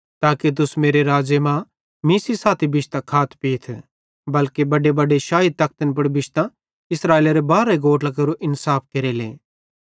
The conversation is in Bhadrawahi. ताके तुस मेरे राज़्ज़े मां मीं सेइं साथी बिश्तां खाथ पीथ बल्के बडेबडे शाही तखतन पुड़ बिश्तां इस्राएलेरे बारहे गोत्रां केरो इन्साफ केरेले